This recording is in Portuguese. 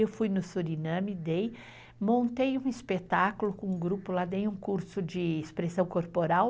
Eu fui no Suriname dei. Montei um espetáculo com um grupo lá, dei um curso de expressão corporal.